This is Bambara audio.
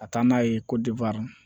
Ka taa n'a ye ko